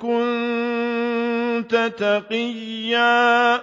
كُنتَ تَقِيًّا